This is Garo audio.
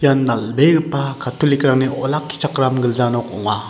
ian dal·begipa catholic-rangni olakkichakram gilja nok ong·a.